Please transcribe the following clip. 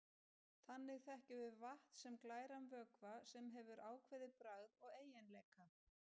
Þannig þekkjum við vatn sem glæran vökva, sem hefur ákveðið bragð og eiginleika.